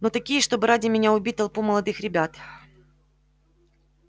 но такие чтобы ради меня убить толпу молодых ребят